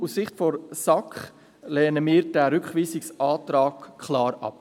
Deshalb lehnt die SAK diesen Rückweisungsantrag klar ab.